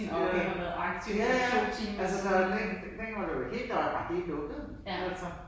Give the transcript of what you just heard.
Jo, jo. Ja ja. Altså der var vel ikke altså dengang men var der var der var jo helt lukket ik altså